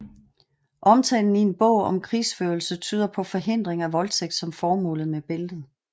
Omtalen i en bog om krigsførelse tyder på forhindring af voldtægt som formålet med bæltet